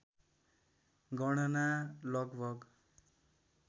गणना लगभग